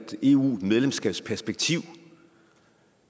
eu medlemskabsperspektiv